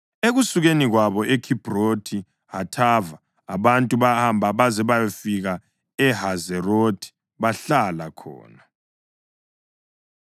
Ekusukeni kwabo eKhibhrothi Hathava abantu bahamba baze bayafika eHazerothi bahlala khona.